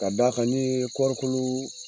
Ka da kan ni kɔrikolo